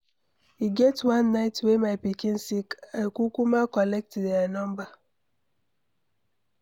E get one night wey my pikin sick,I kukuma collect their number.